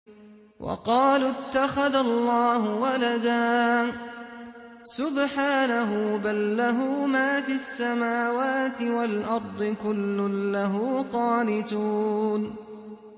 وَقَالُوا اتَّخَذَ اللَّهُ وَلَدًا ۗ سُبْحَانَهُ ۖ بَل لَّهُ مَا فِي السَّمَاوَاتِ وَالْأَرْضِ ۖ كُلٌّ لَّهُ قَانِتُونَ